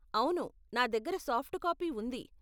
అవును, నా దగ్గర సాఫ్ట్ కాపీ ఉంది.